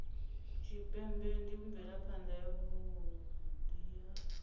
tshipembe ndi mvelaphana yavhui ya